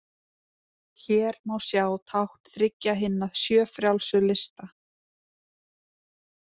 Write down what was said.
Hér má sjá tákn þriggja hinna sjö frjálsu lista.